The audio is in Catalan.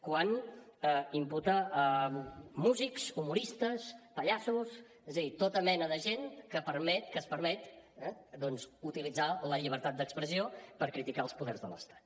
quan imputa músics humoristes pallassos és a dir tota mena de gent que es permet utilitzar la llibertat d’expressió per criticar els poders de l’estat